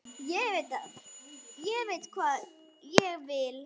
Ég veit hvað ég vil!